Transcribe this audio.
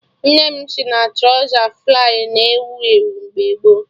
Nne m si na trọza flay na ewu ewu mgbe gboo